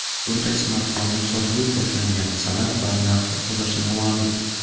Bunday smartfonning sotuvi boshlangan sana va narxi hozircha noma’lum.